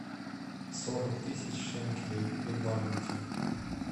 сорок тысяч шенкелей в валюте